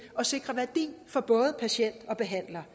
og sikre værdi for både patient og behandler